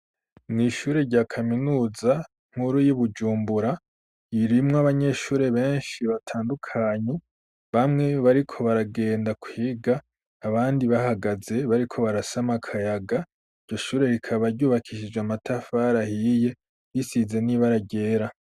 Mw'ishure rya kaminuza nk'uru y'ibujumbura yirimwo abanyeshure benshi batandukanye bamwe bariko baragenda kwiga abandi bahagaze bariko barasama akayaga iryo shure rikabaryubakishije amatafar ahiye risize n'ibaragera.